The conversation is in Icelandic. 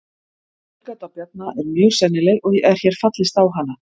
Þessi tilgáta Bjarna er mjög sennileg og er hér fallist á hana.